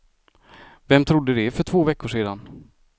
Vem trodde det för två veckor sedan?